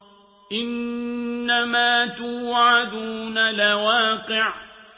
إِنَّمَا تُوعَدُونَ لَوَاقِعٌ